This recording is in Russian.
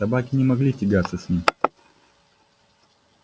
собаки не могли тягаться с ним